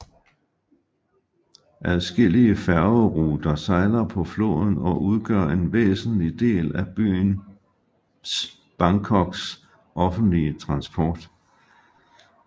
Adskillige færgeruter sejler på floden og udgør en væsentlig del af byens Bangkoks offentlige transport